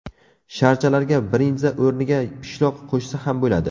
Sharchalarga brinza o‘rniga pishloq qo‘shsa ham bo‘ladi.